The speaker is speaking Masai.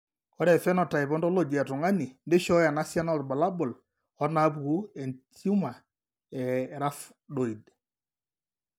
Ore ephenotype ontology etung'ani neishooyo enasiana oorbulabul onaapuku entiumor eRhabdoid.